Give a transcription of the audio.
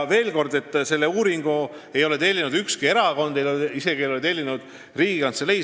Veel kord, kõnealust uuringut ei ole tellinud ükski erakond, isegi mitte Riigikantselei.